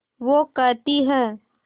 वो कहती हैं